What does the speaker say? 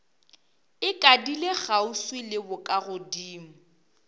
e ikadile kgauswi le bokagodimo